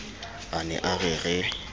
a ne a re re